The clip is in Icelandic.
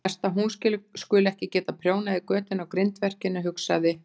Verst að hún skuli ekki geta prjónað í götin á grindverkinu, hugsaði